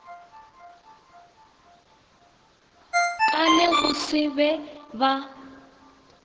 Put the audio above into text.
ka le go se ba